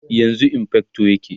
yanzun infector yake